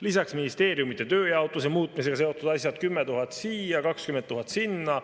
Lisaks ministeeriumide tööjaotuse muutmisega seotud asjad, 10 000 siia, 20 000 sinna.